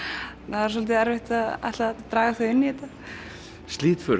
það er svolítið erfitt að ætla að draga þau inn í þetta